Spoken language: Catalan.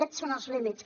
aquests són els límits